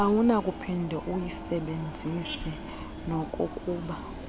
awunakuphinde uyisebenzise nokokuba